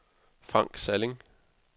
Frank Salling